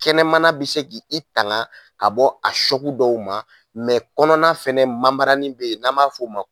Kɛnɛmana bɛ se ka i tanga ka bɔ a dɔw ma kɔnɔna fana bɛ yen n'an b'a fɔ o ma